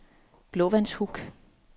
Blåvandshuk